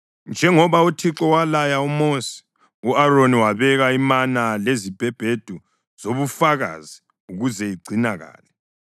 Njengoba uThixo walaya uMosi, u-Aroni wabeka imana lezibhebhedu zobufakazi ukuze igcinakale.